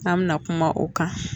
An mina kuma o kan